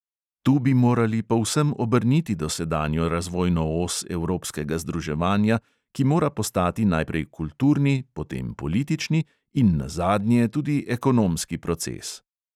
Tu bi morali povsem obrniti dosedanjo razvojno os evropskega združevanja, ki mora postati najprej kulturni, potem politični in nazadnje tudi ekonomski proces.